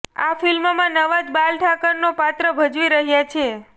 આ ફિલ્મમાં નવાઝ બાલ ઠાકરેનો પાત્ર ભજવી રહ્યાં છે